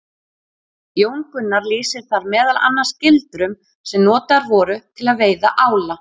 Jón Gunnar lýsir þar meðal annars gildrum sem notaðar voru til að veiða ála.